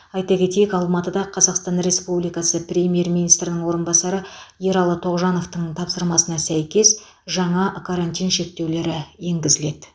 айта кетейік алматыда қазақстан республикасы премьер министрінің орынбасары ералы тоғжановтың тапсырмасына сәйкес жаңа карантин шектеулері енгізіледі